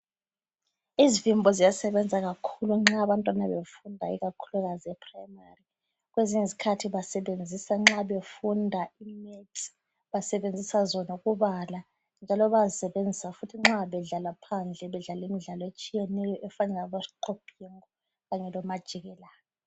Izivimbo ziyasebenza kakhulu nxa abantwana befunda ikakhulu ePhurayimari. Kwezinye izikhathi basebenzisa nxa befunda iMaths basebenzisa zona ukubala, njalo bayazisebenzisa futhi nxa bedlala phandle bedlala imidlalo etshiyeneyo efana labosiqobhingo kanye lomajikelana.